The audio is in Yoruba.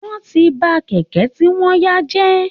Wọ́n ti ba kẹ̀kẹ́ tí wọ́n yá jẹ́